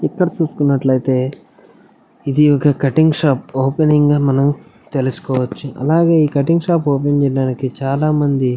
ఇక్కడ చూస్తున్నట్లైతే ఇది ఒక్క కటింగ్ షాప్ ఓపెనింగ్గా తెలుసుకోవచ్చు అలాగే ఈ కటింగ్ షాప్ ఓపెనింగ్ చేయడానికి చాలామంది--